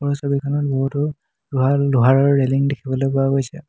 ওপৰৰ ছবিখনত বহুতো লোহা লোহাৰ ৰেলিং দেখিবলৈ পোৱা গৈছে।